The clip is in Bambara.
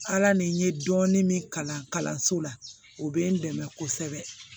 Ala ni n ye dɔɔnin min kalan kalanso la o bɛ n dɛmɛ kosɛbɛ